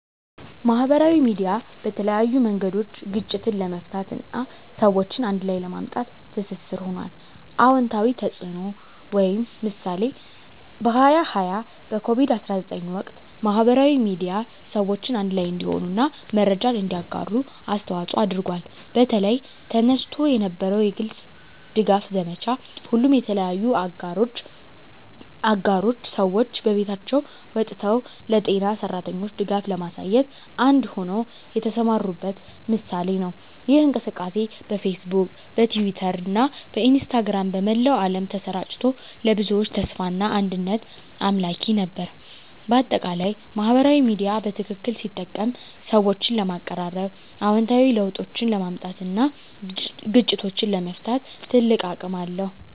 ማህበራዊ ሚዲያ በተለያዩ መንገዶች ግጭትን ለመፍታት እና ሰዎችን አንድ ላይ ለማምጣት ትስስር ሆኗል። #*አዎንታዊ ተፅዕኖ (ምሳሌ) በ2020 በኮቪድ-19 ወቅት፣ ማህበራዊ ሚዲያ ሰዎችን አንድ ላይ እንዲሆኑ እና መረጃን እንዲያጋሩ አስተዋፅዖ አድርጓል። በተለይ፣ ተነስቶ የነበረው የግልጽ ድጋፍ ዘመቻ፣ ሁሉም የተለያዩ አገሮች ሰዎች ከቤቶቻቸው ወጥተው ለጤና ሠራተኞች ድጋፍ ለማሳየት አንድ ሆነው የተሰማሩበት ምሳሌ ነው። ይህ እንቅስቃሴ በፌስቡክ፣ በትዊተር እና በኢንስታግራም በመላው ዓለም ተሰራጭቶ፣ ለብዙዎች ተስፋና አንድነት አምላኪ ነበር። በአጠቃላይ፣ ማህበራዊ ሚዲያ በትክክል ሲጠቀም ሰዎችን ለማቀራረብ፣ አዎንታዊ ለውጦችን ለማምጣት እና ግጭቶችን ለመፍታት ትልቅ አቅም አለው።